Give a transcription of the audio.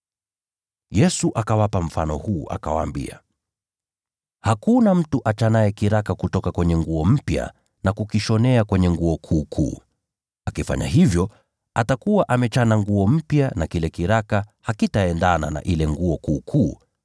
Yesu akawapa mfano huu, akawaambia: “Hakuna mtu achanaye kiraka kutoka kwenye nguo mpya na kukishonea kwenye nguo iliyochakaa. Akifanya hivyo, atakuwa amechana nguo mpya, na kile kiraka hakitalingana na ile nguo iliyochakaa.